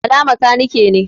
Bala makanike ne.